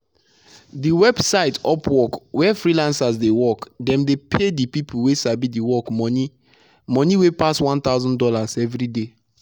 the website "upwork" where freelancers dey work dem dey pay the people wey sabi the work money money wey pass 1000 dollars everyday.